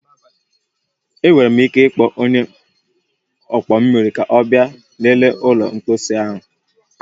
Ị nwere ike ịkpọ onye ọkpọ mmiri ka ọ bịa lelee ụlọ mposi anyi a?